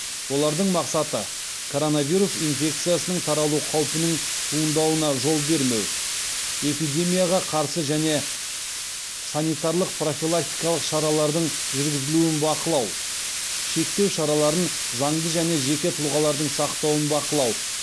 олардың мақсаты коронавирус инфекциясының таралу қаупінің туындауына жол бермеу эпидемияға қарсы және санитарлық профилактикалық шаралардың жүргізілуін бақылау шектеу шараларын заңды және жеке тұлғалардың сақтауын бақылау